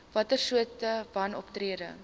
watter soorte wanoptrede